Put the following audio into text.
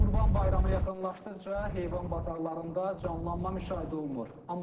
Qurban bayramı yaxınlaşdıqca heyvan bazarlarında canlanma müşahidə olunur.